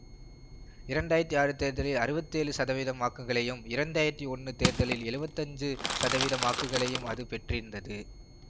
இரண்டு ஆயிரத்தி ஆறு தேர்தலில் அறுபத்தி ஏழு சதவீதம் வாக்குகளையும் இரண்டு ஆயிரத்தி ஒன்று தேர்தலில் எழுவத்தி அஞ்சு சதவீத வாக்குகளையும் அது பெற்றிருந்தது